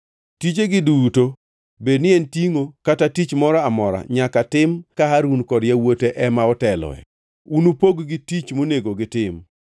Tijegi duto, bedni en tingʼo kata tich moro amora nyaka tim ka Harun kod yawuote ema oteloe. Unupog-gi tich monego gitim.